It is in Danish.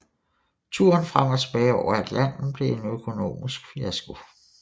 Turen frem og tilbage over Atlanten blev en økonomisk fiasko